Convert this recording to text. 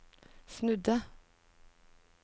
snudde